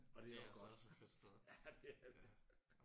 Og det er også godt. Ja det er det